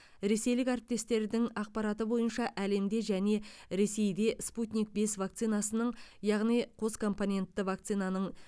ресейлік әріптестердің ақпараты бойынша әлемде және ресейде спутник бес вакцинасының яғни қоскомпонентті вакцинаның